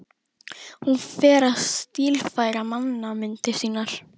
Hún fer að stílfæra mannamyndir sínar.